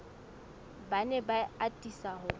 ba ne ba atisa ho